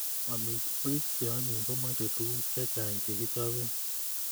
Amitwokik che onyiny komochei tuguk chechang chekichobe